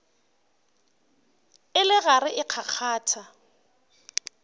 e le gare e kgakgatha